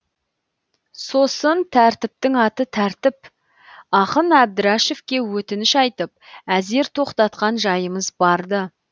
сосын тәртіптің аты тәртіп ақын әбдірашевке өтініш айтып әзер тоқтатқан жайымыз бар ды